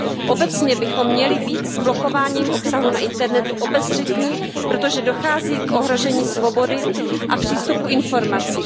Obecně bychom měli být s blokováním obsahu na internetu obezřetní, protože dochází k ohrožení svobody a přístupu k informacím.